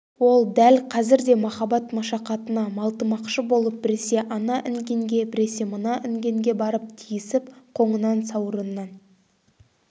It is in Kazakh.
ол дәл қазір де махаббат машақатына малтымақшы болып біресе ана інгенге біресе мына інгенге барып тиісіп қоңынан сауырынан